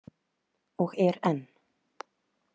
Og er enn.